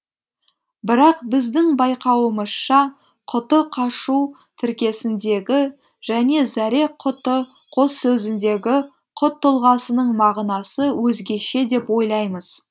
бірақ біздің байқауымызша құты қашу тіркесіндегі және зәре құты қос сөзіндегі құт тұлғасының мағынасы өзгеше деп ойлаймыз